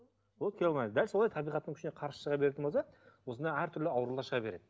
болды келе алмайсыз дәл солай табиғаттың күшіне қарсы шыға беретін болса осындай әртүрлі аурулар шыға береді